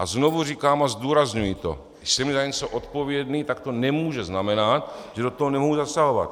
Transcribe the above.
A znovu říkám a zdůrazňuji to, když jsem za na něco odpovědný, tak to nemůže znamenat, že do toho nemohu zasahovat.